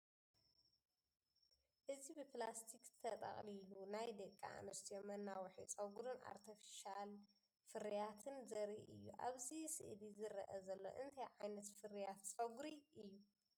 እዚ ብፕላስቲክ ተጠቕሊሉ ናይ ደቂ ኣንስትዮ መናውሒ ጸጉሪን ኣርቴፍሻል ፍርያትን ዘርኢ እዩ። ኣብዚ ስእሊ ዝረአ ዘሎ እንታይ ዓይነት ፍርያት ጸጉሪ ኣሎ?